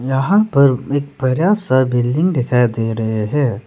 यहां पर एक बड़ा सा बिल्डिंग दिखाई दे रहे हैं।